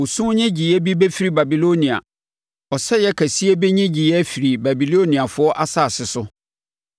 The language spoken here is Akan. “Osu nnyegyeeɛ bi firi Babilonia, ɔsɛeɛ kɛseɛ bi nnyegyeeɛ firi Babiloniafoɔ asase so.